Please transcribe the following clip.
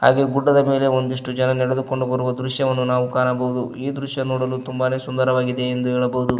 ಹಾಗೆ ಗುಡ್ಡದ ಮೇಲೆ ಒಂದಿಷ್ಟೂ ಜನ ನಡೆದುಕೊಂಡು ಬರುವ ದೃಶ್ಯವನ್ನು ನಾವು ಕಾಣಬಹುದು ಈ ದೃಶ್ಯ ನೋಡಲು ತುಂಬಾನೆ ಸುಂದರವಾಗಿದೆ ಎಂದು ಹೇಳಬಹುದು.